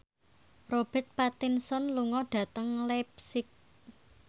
Robert Pattinson lunga dhateng leipzig